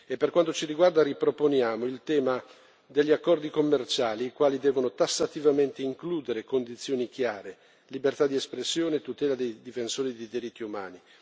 Per quanto ci riguarda, riproponiamo il tema degli accordi commerciali, i quali devono tassativamente includere condizioni chiare, libertà di espressione e tutela dei difensori dei diritti umani.